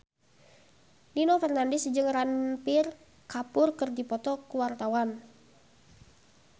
Nino Fernandez jeung Ranbir Kapoor keur dipoto ku wartawan